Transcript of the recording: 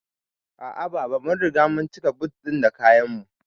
A'a baba, mun riga mun cika but ɗin da kayan mu